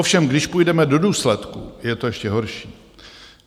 Ovšem když půjdeme do důsledků, je to ještě horší.